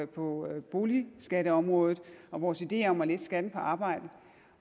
på boligskatteområdet og vores ideer om at lette skatten på arbejde